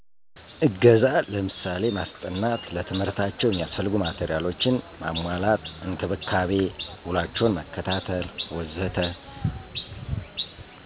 እገዛ ለምሳሌ ማስጠናት፣ ለትምህርታቸው የሚያስፈልጉ ማቴሪያሎችን ማሟላት፣ እንክብካቤ፣ ውሏቸውን መከታተል ወዘተ....